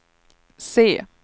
se